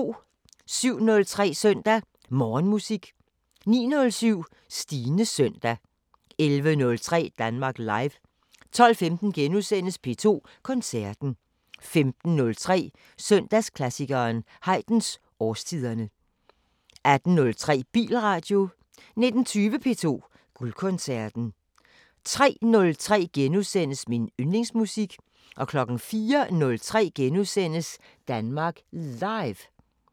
07:03: Søndag Morgenmusik 09:07: Stines søndag 11:03: Danmark Live 12:15: P2 Koncerten * 15:03: Søndagsklassikeren – Haydns Årstiderne 18:03: Bilradio 19:20: P2 Guldkoncerten 03:03: Min yndlingsmusik * 04:03: Danmark Live *